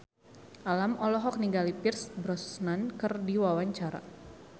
Alam olohok ningali Pierce Brosnan keur diwawancara